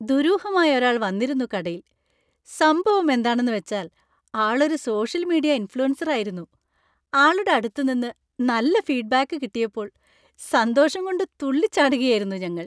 ദുരൂഹമായ ഒരാൾ വന്നിരുന്നു കടയിൽ; സംഭവം എന്താണെന്നുവെച്ചാൽ ആളൊരു സോഷ്യൽ മീഡിയ ഇൻഫ്ലുവൻസറായിരുന്നു; ആളുടെ അടുത്ത് നിന്ന് നല്ല ഫീഡ്ബാക്ക് കിട്ടിയപ്പോൾ സന്തോഷം കൊണ്ട് തുള്ളിച്ചാടുകയായിരുന്നു ഞങ്ങൾ.